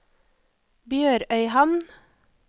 BjørØyhamn